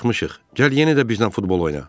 Gəl yenə də bizdən futbol oyna.